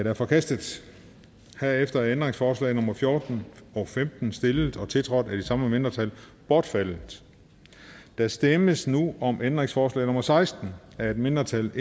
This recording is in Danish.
er forkastet herefter er ændringsforslag nummer fjorten og femten stillet og tiltrådt af de samme mindretal bortfaldet der stemmes nu om ændringsforslag nummer seksten af et mindretal